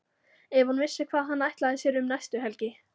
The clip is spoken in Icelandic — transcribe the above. Ef hún vissi hvað hann ætlaði sér um næstu helgi!